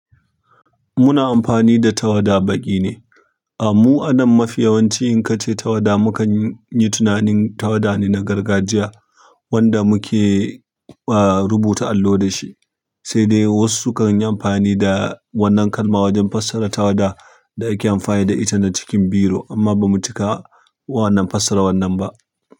Muna amfani da tawada baƙi ne. Mu anan mafi yawanci in kace tawada, mu kan yi tunanin tawada na gargajiya, wanda muke rubutun allo da shi. Sai dai wasu sukan yi amfani da wannan kalma wajen fassara tawada da ake amfani da ita na cikin biro, amma ba mu cika wannan fassara wannan ba.